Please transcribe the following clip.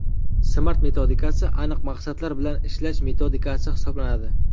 Smart metodikasi aniq maqsadlar bilan ishlash metodikasi hisoblanadi.